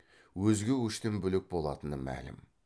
өзге көштен бөлек болатыны мәлім